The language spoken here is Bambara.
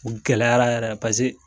U gɛlɛyara yɛrɛ paseke.